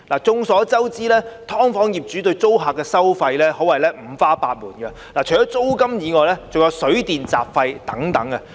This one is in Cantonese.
眾所周知，"劏房"業主對租客的收費可謂五花八門，除租金外，還有水電和雜費等。